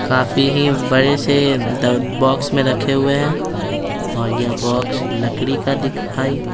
काफी ही बड़े से बॉक्स में रखे हुए हैं और यह बॉक्स लकड़ी का दिखाई --